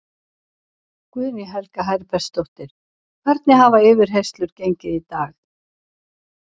Guðný Helga Herbertsdóttir: Hvernig hafa yfirheyrslur gengið í dag?